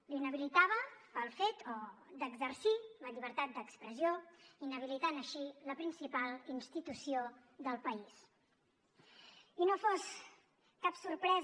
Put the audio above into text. l’inhabilitava pel fet d’exercir la llibertat d’expressió inhabilitant així la principal institució del país